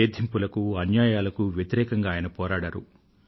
వేధింపులకు అన్యాయాలకు వ్యతిరేకంగా ఆయన పోరాడారు